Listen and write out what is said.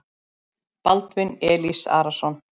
Baldvin Elís Arason.